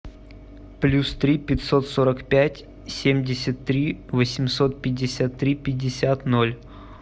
плюс три пятьсот сорок пять семьдесят три восемьсот пятьдесят три пятьдесят ноль